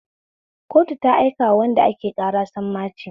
Kotu ta aika wa wanda ake ƙara sammaci